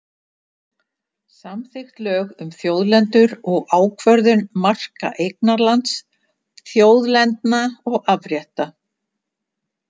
Samþykkt lög um þjóðlendur og ákvörðun marka eignarlands, þjóðlendna og afrétta.